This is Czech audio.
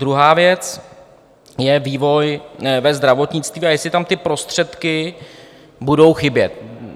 Druhá věc je vývoj ve zdravotnictví, a jestli tam ty prostředky budou chybět.